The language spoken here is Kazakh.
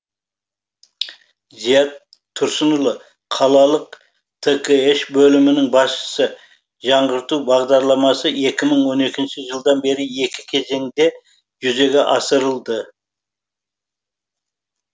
зият тұрсынұлы қалалық ткш бөлімінің басшысы жаңғырту бағдарламасы екі мыңон екінші жылдан бері екі кезеңде жүзеге асырылды